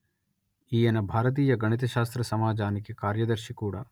ఈయన భారతీయ గణిత శాస్త్ర సమాజానికి కార్యదర్శి కూడా